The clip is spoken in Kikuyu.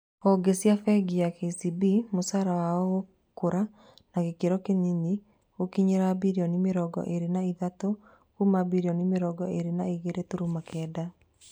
Honge cia bengi ya KCB mũcara wao gũkũra na gĩkĩro kĩnini gũkinyĩria birioni mĩrongo ĩrĩ na ithatũ kuma birioni mĩrongo ĩrĩ na igĩrĩ turumo kenda